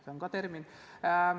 See on ka termin.